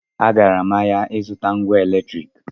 Agara m ahịa ịzụta ngwa eletriki